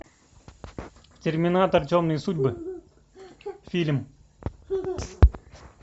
терминатор темные судьбы фильм